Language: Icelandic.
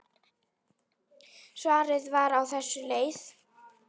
Svarið var á þessa leið